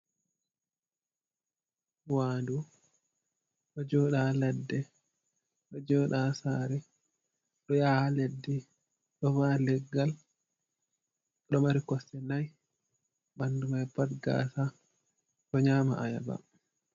Wa'ndu ɗo joɗa ha ladde ɗo joɗa ha sare ɗo yaha ha leddi, ɗo va'a leggal, ɗo mari kosɗe nayi ɓandu man pat gasa ɗo nyama ayaba.